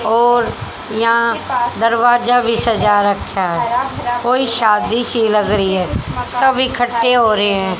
और यहां दरवाजा भी सजा रखा है कोई शादी सी लग रही है सब इकट्ठे हो रहे हैं।